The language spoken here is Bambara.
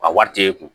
A wari t'e kun